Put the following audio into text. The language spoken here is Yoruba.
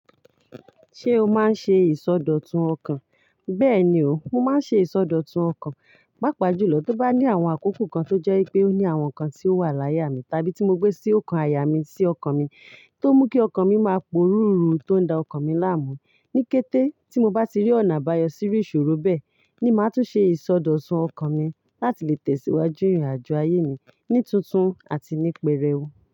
Ṣé o máa ń ṣe ìsọdọ̀tun ọkàn? Bẹ́ẹ̀ni o, mo máa ń ṣe ìsọdọ̀tun ọkàn. Pápa jùlọ, tí ó bá ní àwọn àkókò kan tó jẹ́ pé ó ní àwọn nǹkan tí ó wà láyà mi, tàbí tí mo gbé sí ọkàn àyà mi sí ọkàn mi, tó mú kí ọkàn mi máa porú ìrun tó ń da ọkàn mi láàmú. Ní kété tí mo bá ti rí ọ̀nà àbáyọ sí iru ìṣòro bẹ́ẹ̀, ni màá tún ṣe ìsọdọ̀tun ọkàn mi láti lè tẹ̀síwájú ìrìnàjò ayé mi ní tuntun àti ní pẹrẹu.